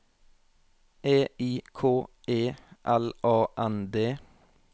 E I K E L A N D